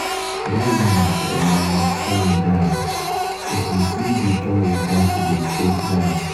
dat woman um funny die. if you see the kin water she dey take um baff.